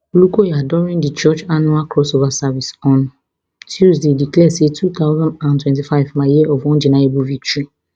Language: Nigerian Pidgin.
olukoya during di church annual cross over service on tuesday declare say two thousand and twenty-five my year of undeniable victory